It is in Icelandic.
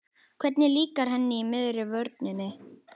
Hvernig líkar henni í miðri vörninni?